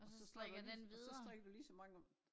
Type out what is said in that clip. Og så strikker du lige og så strikker du lige så mange om